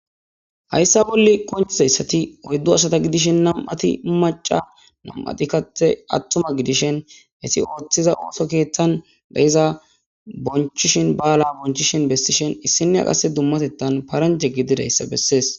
Hayssa bolle konchizayssati oyddu asata gidishin nam7ati maca nam7ati kathe attuma gidishen hesi ooththiza ooso keeththan gayiza bonchishin ba7ala bonchishen bessishen issinea qasse dummatettan paranjhe gididayssa bessees